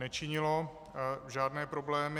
Nečinilo žádné problémy.